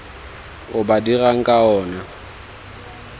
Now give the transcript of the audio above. o ba dirang ka ona